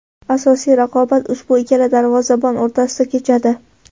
Asosiy raqobat ushbu ikkala darvozabon o‘rtasida kechadi.